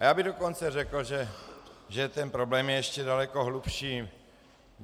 A já bych dokonce řekl, že ten problém je ještě daleko hlubší.